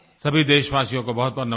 सभी देशवासियो को बहुतबहुत नमस्कार